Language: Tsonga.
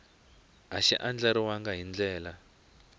a xi andlariwangi hi ndlela